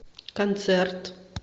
концерт